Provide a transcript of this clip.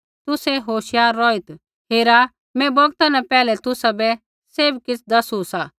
तुसै होशियार रौहित् हेरा मैं बौगता न पैहलै तुसाबै सैभ किछ़ दसू सा